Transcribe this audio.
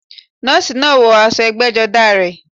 Nọ́ọ̀sì náà wọ aṣọ ẹgbẹ́jọdá rẹ̀